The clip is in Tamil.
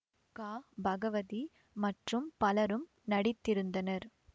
க பகவதி மற்றும் பலரும் நடித்திருந்தனர்